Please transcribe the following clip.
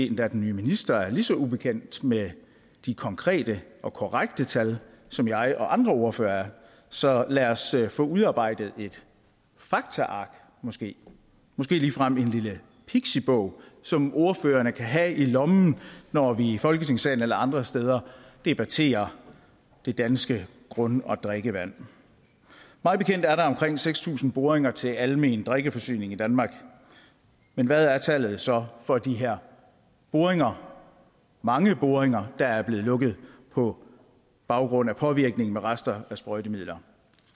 endda den nye minister lige så ubekendt med de konkrete og korrekte tal som jeg og andre ordførere er så lad os få udarbejdet et faktaark måske måske ligefrem en lille pixibog som ordførerne kan have i lommen når vi i folketingssalen eller andre steder debatterer det danske grund og drikkevand mig bekendt er der omkring seks tusind boringer til almen drikkeforsyning i danmark men hvad er tallet så for de her boringer mange boringer der er blevet lukket på baggrund af påvirkningen fra rester af sprøjtemidler